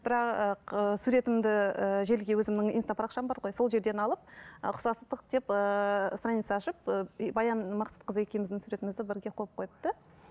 бірақ суретімді ііі желіге өзімнің инста парақшам бар ғой сол жерден алып ұқсастық деп ыыы страница ашып ы баян мақсатқызы екеуміздің суретімізді бірге қойып қойыпты